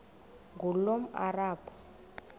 ngulomarabu